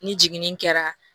Ni jiginni kɛra